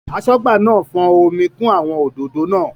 Aṣọ́gbà náà fọ́n omi kún àwọn òdòdó náà.